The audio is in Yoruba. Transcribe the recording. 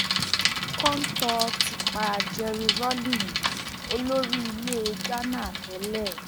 kọńtò ti pa jerry rawling olórí ilẹ ghana tẹlẹ